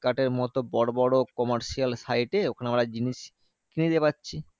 এর মতো বড় বড় commercial site এ ওখানে আমরা জিনিস কিনে নিতে পারছি।